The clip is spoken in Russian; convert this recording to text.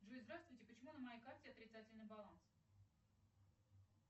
джой здравствуйте почему на моей карте отрицательный баланс